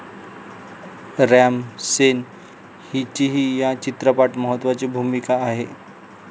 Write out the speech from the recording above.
RAM Sen हिचीही या चित्रपटात महत्वाची भूमिका आहे.